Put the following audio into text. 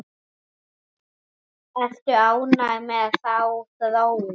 Ertu ánægður með þá þróun?